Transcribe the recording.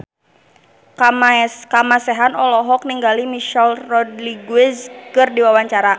Kamasean olohok ningali Michelle Rodriguez keur diwawancara